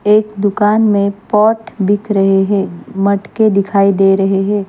एक दुकान में पॉट बिक रहे हैं मटके दिखाई दे रहे हैं।